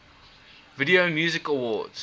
video music awards